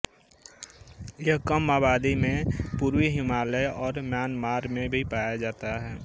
यह कम आबादी में पूर्वी हिमालय और म्यानमार में भी पाया जाता है